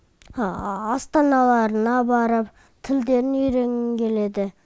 астаналарына барып тілдерін үйренгім келеді